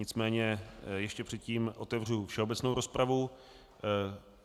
Nicméně ještě předtím otevřu všeobecnou rozpravu.